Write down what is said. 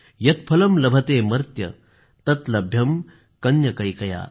यत् फलं लभतेमर्त्य तत् लभ्यं कन्यकैकया